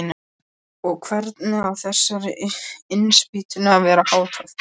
Og hvernig á þessari innspýtingu að vera háttað?